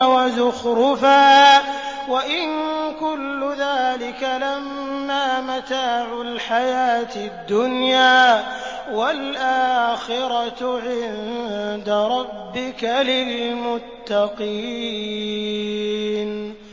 وَزُخْرُفًا ۚ وَإِن كُلُّ ذَٰلِكَ لَمَّا مَتَاعُ الْحَيَاةِ الدُّنْيَا ۚ وَالْآخِرَةُ عِندَ رَبِّكَ لِلْمُتَّقِينَ